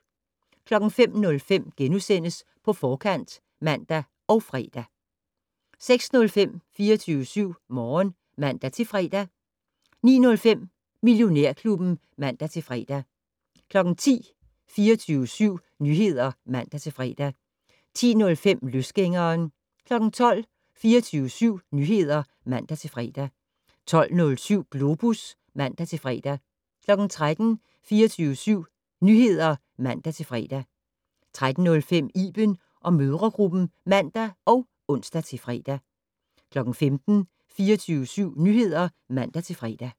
05:05: På Forkant *(man og fre) 06:05: 24syv Morgen (man-fre) 09:05: Millionærklubben (man-fre) 10:00: 24syv Nyheder (man-fre) 10:05: Løsgængeren 12:00: 24syv Nyheder (man-fre) 12:07: Globus (man-fre) 13:00: 24syv Nyheder (man-fre) 13:05: Iben & mødregruppen (man og ons-fre) 15:00: 24syv Nyheder (man-fre)